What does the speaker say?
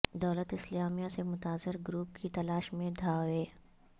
دولت اسلامیہ سے متاثر گروپ کی تلاش میں دھاوے